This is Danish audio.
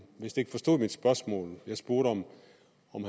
vist ikke forstod mit spørgsmål jeg spurgte om